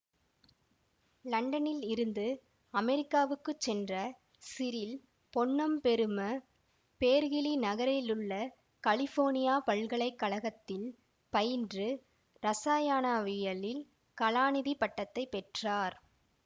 லண்டனில் இருந்து அமெரிக்காவுக்குச் சென்ற சிறில் பொன்னம்பெரும பேர்கிலி நகரிலுள்ள கலிபோர்னியா பல்கலை கழகத்தில் பயின்று இரசாயானாவியலில் கலாநிதிப் பட்டத்தை பெற்றார்